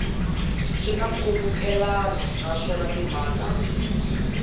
swi na nkhulukelano naswona timhaka